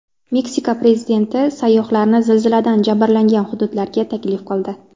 Meksika prezidenti sayyohlarni zilziladan jabrlangan hududlarga taklif qildi.